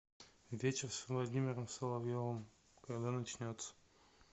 вечер с владимиром соловьевым когда начнется